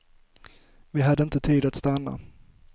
Vi hade inte tid att stanna.